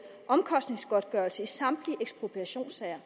omkostningsgodtgørelse i samtlige ekspropriationssager